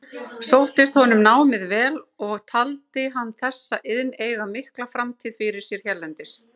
Sóttist honum námið vel og taldi hann þessa iðn eiga mikla framtíð fyrir sér hérlendis.